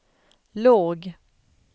låg